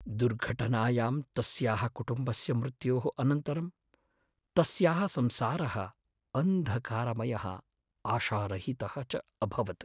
दुर्घटनायां तस्याः कुटुम्बस्य मृत्योः अनन्तरं तस्याः संसारः अन्धकारमयः आशारहितः च अभवत्।